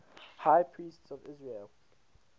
high priests of israel